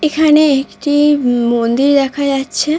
এখানে একটি উম মন্দির দেখা যাচ্ছে।